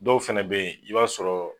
fɛnɛ be yen i b'a sɔrɔ